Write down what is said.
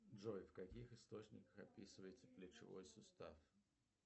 джой в каких источниках описывается плечевой сустав